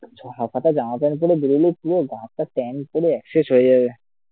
হাফহাতা জমা পড়ে বেরোলে পুরো গা হাত পা tan পড়ে এক শেষ হয়ে যাবে